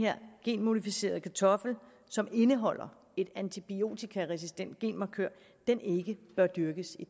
her genmodificerede kartoffel som indeholder en antibiotikaresistent genmarkør ikke bør dyrkes i